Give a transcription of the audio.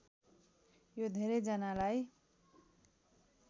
यो धेरै जनालाई